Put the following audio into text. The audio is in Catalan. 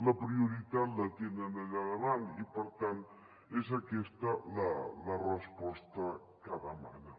la prioritat la tenen allà davant i per tant és aquesta la resposta que demanen